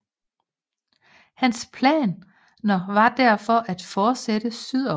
Hans planer var derfor at fortsætte sydover